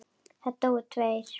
Það dóu tveir.